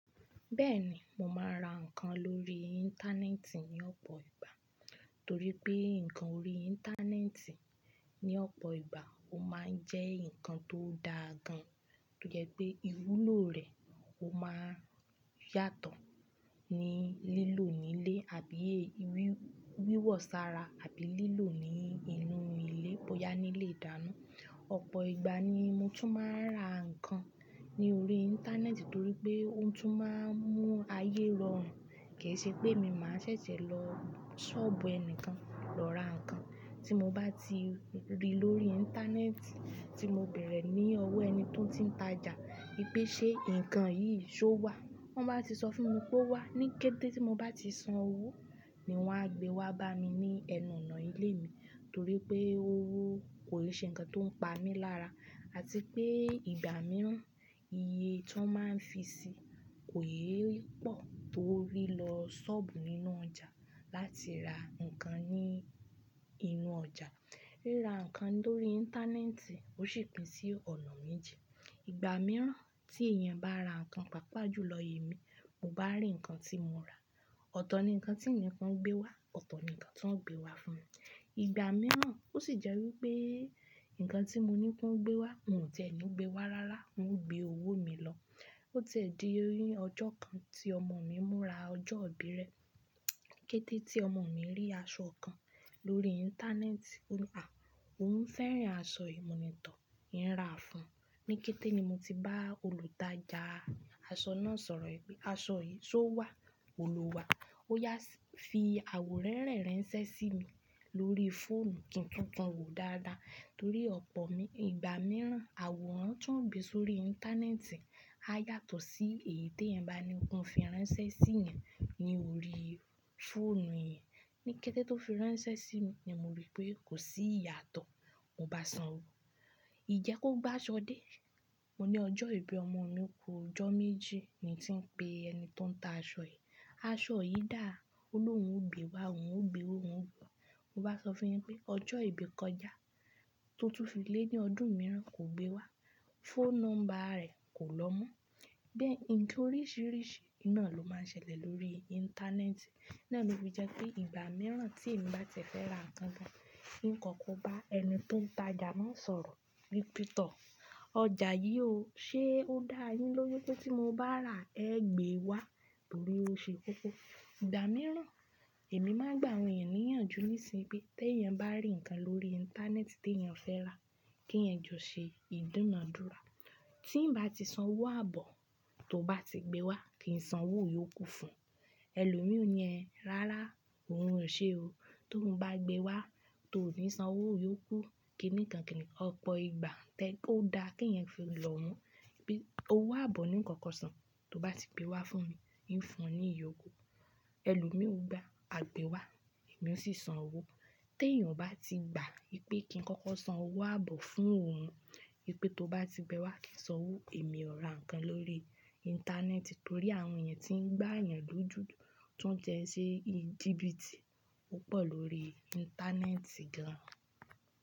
Bẹ́ẹ̀ni, mò máa ń ra ǹkan lórí Íńtánẹ́ẹ̀tì ní ọ̀pọ̀ ìgbà. Torí pé ǹkan ori Íńtánẹ́ẹ̀tì ní ọ̀pọ̀ ìgbà ó máa ń jẹ́ ǹkan tó dáa gan, tó jẹ́ pé iwúlò rẹ̀ ó máa ń yàtọ̀ ní lílò nílé àbí wíwọ sára àbí lílò ní inú ilé, bóyá nílé ìdáná. Ọ̀pọ̀ ìgbà ni mo tún máa ń ra ǹkan ní orí Íńtánẹ́ẹ̀tì torí pé ó tún máa ń mú ayé rọrùn. Kì í ṣe pé èmi máa ṣẹ̀ṣẹ̀ lọ ṣọ́ọ̀bù ẹni kan lọ ra ǹkan. Tí mo bá ti rí lórí Íńtánẹ́ẹ̀tì tí mo béèrè ní ọwọ́ ẹni tó ti ń ta ja pé ṣe ǹkan yìí ṣó wà, tọ́n ba ti sọ fún mi pé ó wà. Ní kété tí mo bá ti san owó ni wọ́n á gbé wá bá mi ní ẹnu ọ̀nà ilé mi torí pé owó kò n ṣe ǹkan tó ń pa mí lára àti pé ìgbà mìíràn iye tí wọ́n máa ń fi sí kò yẹ pọ̀ tó rí lọ ṣọ́ọ̀bù nínú ọjà láti ra ǹkan ní inú ọjà. Ríra ǹkan lórí Íńtánẹ́ẹ̀tì ó sì pín sí ọ̀nà méji Ìgbà mìíràn tí èèyàn bá ra ǹkan, pàápàá jù lọ èmi, mo bá rí ǹkan tí mò ń ra, ọ̀tọ̀ ni ǹkan tí n ǹi kan gbé wá, ọ̀tọ̀ ni ǹkan tí wọ́n gbé wá fún mi. Ìgbà mìíràn ó sì jẹ́ wí pé ǹkan tí mo ní kí wọ́n gbé wá, wọ́n ò tie ni gbé wá rárá, wọ́n gbé owó mi lọ. Ó ti ẹ̀ di ọjọ́ kan tí ọmọ mi múra ọjọ́ ìbí rẹ. Kété tí ọmọ mi rí aṣọ kan lórí Íńtánẹ́ẹ̀tì, ó ní "à, òun fẹ́ràn aṣọ yìí, mo ní tọ́, ì ń rà á fún ọ". Ní kété ni mo ti bá olùtajà aṣọ náà sọ̀rọ̀ wípé aṣọ yìí ṣó wà? Ó ní ò wà. Ó yá fi àwò rẹ́rẹ̀ ranṣẹ́ sí mi lórí fóònù kí ń tun kan òwò dáadáa torí ọ̀pọ̀ ìgbà mìíràn àwò rán tí wọ́n gbé sórí Íńtánẹ́ẹ̀tì á yàtọ̀ sí èyí tí èèyàn bá ní kan fi ránṣẹ́ sí ìyẹn ní orí fóònù eeyan Ní kété tó fi ránṣẹ́ sí mi ni mo rí pé kò sí ìyàtọ̀, mò bá san owó. Ìje kò gbe aṣọ dé. Mo ní ọjọ́ ìbí ọmọ mi ku ijọ́ méjì ni tí ń pe ẹni tó ń ta aṣọ yìí. Aṣọ yìí dáa, ó lóhun ó gbé wá, òun ó gbé wa oun o, mò bá sọ fún yin pé ọjọ́ ìbí kọjá, tó tún fi lé ní ọdún mìíràn kò gbé wá, phone number rẹ̀ kò lọ́ mọ́. Bẹ́ẹ̀ ǹkan oríṣìíríṣìí náà ló máa ń ṣẹlẹ̀ lórí Íńtánẹ́ẹ̀tì. Naà ni ó fi jẹ́ pé ìgbà mìíràn tí èmi bá tiẹ̀ fẹ́ ra ǹkan gan, n kọ̀ko bá ẹni tó ń tajà náà sọ̀rọ̀ wípé tọ́, ọjà yìí ò, ṣe ó dáa yín lóju pé tí mo bá rà ẹ́ gbé wá torí ó ṣe kókó. Ìgbà mìíràn èmi máa gbà àwọn èèyàn níyànjú nísinsìnyí pé tí èèyàn bá rí ǹkan lórí Íńtánẹ́ẹ̀tì tí èèyàn fẹ́ rà, kí èèyàn ju ṣe ìdúnàádúrà. Tí ń bá ti san owó àbọ̀ tó bá ti gbé wá, kí ń san owó ìyókù fún ẹ. Ẹ̀lò mí ò ní ẹhn rárá, òun ò ṣe o. Ti oun bá gbé wá, tó ò ní san owó ìyókù, kíni kan kini kan. Ọ̀pọ̀ ìgbà tẹ́ ó dáa kí èèyàn fi lọ wọ́n pé owó àbọ̀ ní kọ̀ko san tó bá ti gbé wá fún mi, ì ń fún ọ ní ìyókù. Ẹ̀lò mí ò gba, a gbé wá, èmi ò sì san owó. Tí èèyàn bá ti gba wípé kí n kọ́kọ́ san owó àbọ̀ fún òun wípé tó bá ti gbé wá kí n san owó, èmi ò ra ǹkan lórí Íńtánẹ́ẹ̀tì torí àwọn èèyàn tí ń gbà èèyàn dúdú tún tẹ́ ṣe jiìbìtì púpọ̀ lórí Íńtánẹ́ẹ̀tì gan.